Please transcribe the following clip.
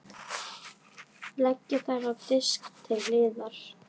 Leggið þær á disk til hliðar.